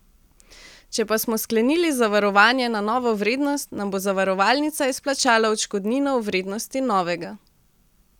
Če pa smo sklenili zavarovanje na novo vrednost, nam bo zavarovalnica izplačala odškodnino v vrednosti novega.